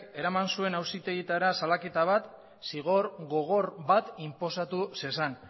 eraman zuen auzitegietara salaketa bat zigor gogor bat inposatu zezan